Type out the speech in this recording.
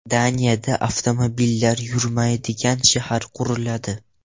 Daniyada avtomobillar yurmaydigan shahar quriladi.